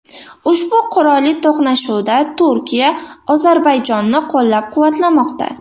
Ushbu qurolli to‘qnashuvda Turkiya Ozarbayjonni qo‘llab-quvvatlamoqda .